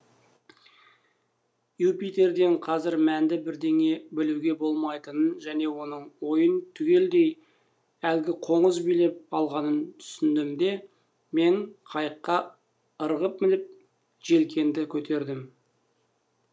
юпитерден қазір мәнді бірдеңе білуге болмайтынын және оның ойын түгелдей әлгі қоңыз билеп алғанын түсіндім де мен қайыққа ырғып мініп желкенді көтердім